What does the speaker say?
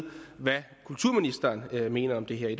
hvad kulturministeren mener om det her i